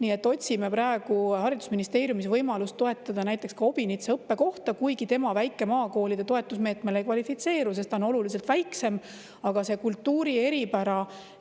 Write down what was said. Nii et otsime praegu haridusministeeriumis võimalust toetada näiteks Obinitsa õppekohta, kuigi tema väikeste maakoolide toetusmeetmele ei kvalifitseeru, sest ta on oluliselt väiksem, aga see kultuuri eripära,